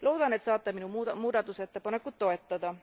Loodan, et saate minu muudatusettepanekut toetada.